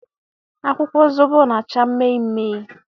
Akwụkwọ zobo na acha mme mme